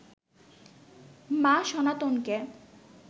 মা সনাতনকে